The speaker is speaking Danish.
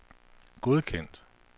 godkendt